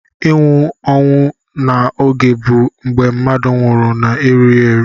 Inwụ onwụ na oge bu mgbe mmadu nwurụ na erughi eru.